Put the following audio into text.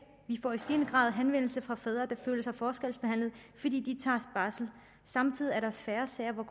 vi får i stigende grad henvendelser fra fædre der føler sig forskelsbehandlet fordi de tager barsel samtidig er der færre sager hvor